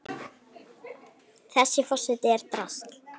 Þessi forseti er drasl!